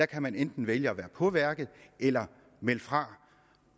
kan man enten vælge at være på værket eller melde fra